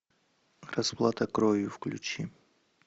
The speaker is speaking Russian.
расплата кровью включи